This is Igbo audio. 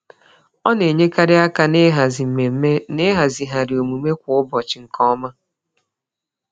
Ọ na-enyekarị aka n'ịhazi mmemme na ịhazigharị omume kwa ụbọchị nke ọma.